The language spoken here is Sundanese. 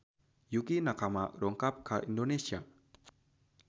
Yukie Nakama dongkap ka Indonesia